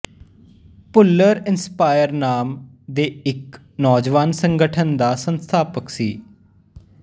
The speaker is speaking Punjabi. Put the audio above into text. ਭੁੱਲਰ ਇੰਸਪਾਇਰ ਨਾਮ ਦੇ ਇੱਕ ਨੌਜਵਾਨ ਸੰਗਠਨ ਦਾ ਸੰਸਥਾਪਕ ਸੀ